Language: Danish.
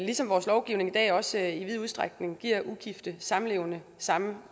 ligesom vores lovgivning i dag også i vid udstrækning giver ugifte samlevende samme